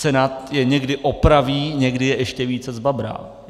Senát je někdy opraví, někdy je ještě více zbabrá.